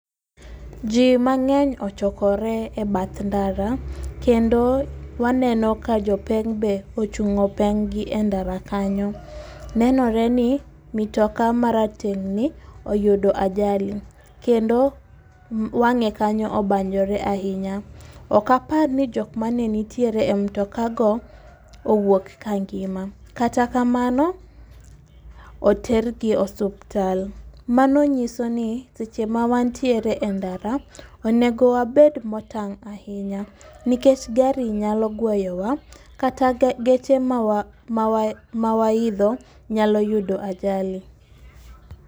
Ji mang'eny ochokore e bath ndara, kendo waneno ka jopeng' be ochung'o peng'gi e ndara kanyo. Nenore ni mitoka marateng'ni oyudo ajali ,kendo wang'e kanyo obanyore ahinya ,ok apar ni jok manenitiere e mtokago owuok ka ngima, kata kamano, otergi e osuptal. Mano nyisoni seche ma wantiere e ndara ,onego wabed motang' ahinya, nikech gari nyalo gweyowa kata geche mawaidho nyalo yudo ajali.